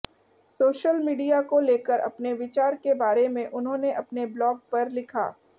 social media को लेकर अपने विचार के बारे में उन्होंने अपने ब्लॉग पर लिखा